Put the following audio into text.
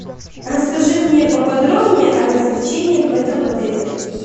расскажи мне поподробнее о развлечениях в этом отеле